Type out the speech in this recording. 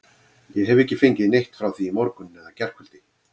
Ég hef ekki fengið neitt frá því í morgun eða gærkvöldi.